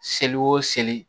Seli o seli